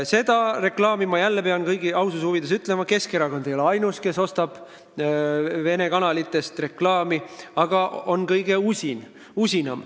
Ma pean jälle aususe huvides ütlema, et Keskerakond ei ole ainus, kes Vene kanalitelt reklaami ostab, aga ta on kõige usinam.